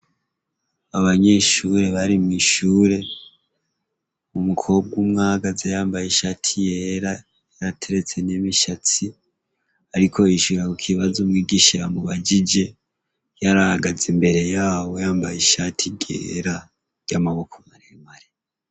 abanyeshure bari mw'ishure umukobwa umwe ahagaze yambaye ishati yera yarateretse n'imishatsi ariko yishura ku kibazo umwigisha yamubajije yarahagaze imbere yabo yambaye ishati ryera ry'amaboko maremare